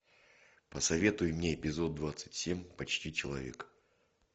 посоветуй мне эпизод двадцать семь почти человек